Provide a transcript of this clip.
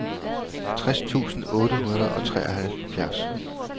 tres tusind otte hundrede og treoghalvfjerds